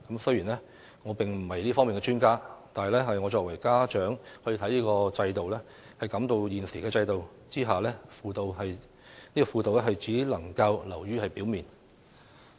雖然我並非這方面的專家，但我作為家長，亦感到在現行制度下，輔導只能流於表面。